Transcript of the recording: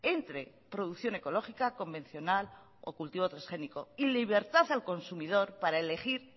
entre producción ecológica convencional o cultivo transgénico y libertad al consumidor para elegir